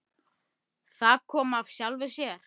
Það kom af sjálfu sér.